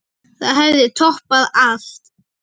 Það hefði toppað allt.